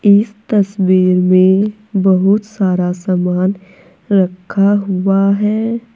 इस तस्वीर में बहुत सारा सामान रखा हुआ है।